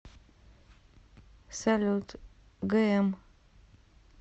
салют гм